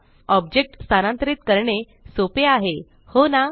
object स्थानांतरीत करणे सोपे आहे हो ना